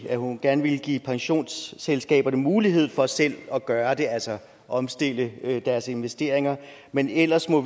at hun gerne ville give pensionsselskaberne mulighed for selv at gøre det altså omstille deres investeringer men ellers må